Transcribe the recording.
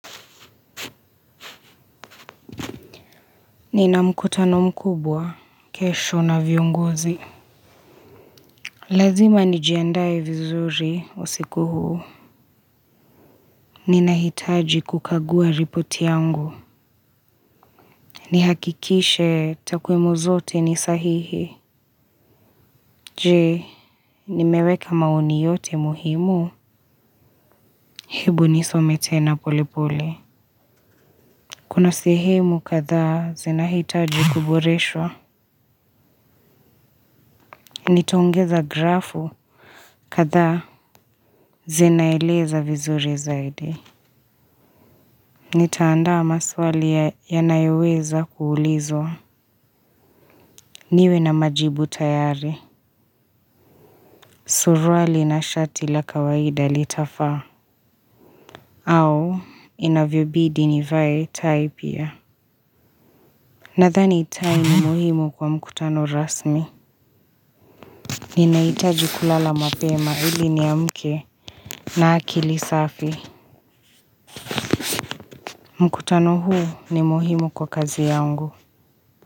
Nina mkutano mkubwa kesho na viongozi. Lazima nijiandae vizuri usiku huu. Ninahitaji kukagua ripoti yangu. Nihakikishe takwimu zote ni sahihi. Je, nimeweka maoni yote muhimu? Hebu nisome tena pole pole. Kuna sehemu kadhaa zinahitaji kuboreswa. Nitaongeza grafu kadhaa. Zinaeleza vizuri zaidi. Nitaandaa maswali yanayoweza kuulizwa. Niwe na majibu tayari. Suruali na shati la kawaida litafaa. Au inavyobidi nivae tai pia. Nathani tai ni muhimu kwa mkutano rasmi. Ninahitaji kulala mapema ili niamke na akili safi. Mkutano huu ni muhimu kwa kazi yangu.